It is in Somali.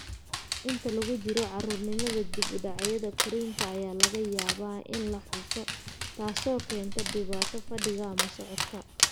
Inta lagu jiro caruurnimada, dib-u-dhacyada korriinka ayaa laga yaabaa in la xuso, taasoo keenta dhibaato fadhiga ama socodka.